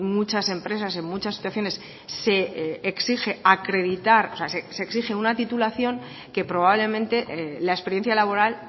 muchas empresas en muchas situaciones se exige acreditar se exige una titulación que probablemente la experiencia laboral